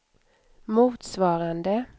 motsvarande